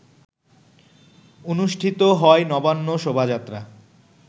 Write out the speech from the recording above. অনুষ্ঠিত হয় নবান্ন শোভাযাত্রা